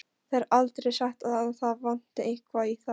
Það er aldrei sagt að það vanti eitthvað í þá.